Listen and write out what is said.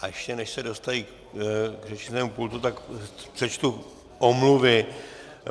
A ještě než se dostaví k řečnickému pultu, tak přečtu omluvy.